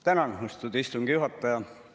Tänan, austatud istungi juhataja!